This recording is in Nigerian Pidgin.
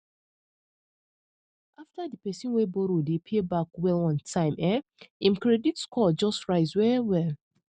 after di person wey borrow dey pay um back well on time um im credit score just rise wellwell